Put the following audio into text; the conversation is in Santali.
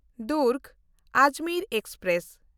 ᱫᱩᱨᱜᱽ-ᱟᱡᱽᱢᱮᱨ ᱮᱠᱥᱯᱨᱮᱥ